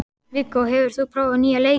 Viggó, hefur þú prófað nýja leikinn?